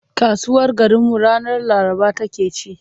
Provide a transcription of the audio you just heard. Kasuwar garinmu ranar Laraba take ci.